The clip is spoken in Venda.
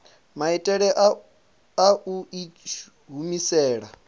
maitele a u i humisela